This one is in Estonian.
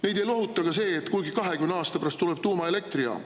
Neid ei lohuta ka see, et kunagi 20 aasta pärast tuleb tuumaelektrijaam.